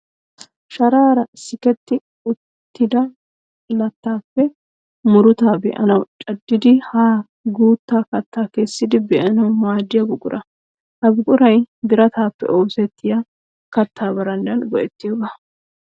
Sharaara siketti uttida lattaappe murutaa be'anawu caddidi haa guutta kattaa kessidi be'anawu maaddiya buqura. Ha buquray birataappe oosettiya kattaa barandan go'ettiyoogaa.